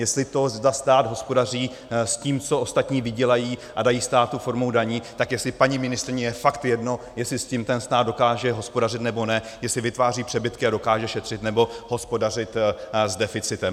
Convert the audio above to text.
Jestli to, zda stát hospodaří s tím, co ostatní vydělají a dají státu formou daní, tak jestli paní ministryni je fakt jedno, jestli s tím ten stát dokáže hospodařit, nebo ne, jestli vytváří přebytky a dokáže šetřit, nebo hospodařit s deficitem.